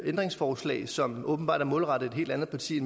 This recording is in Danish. ændringsforslag som åbenbart er målrettet et helt andet parti